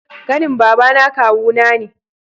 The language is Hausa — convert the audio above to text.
Kanin babana kawu na ne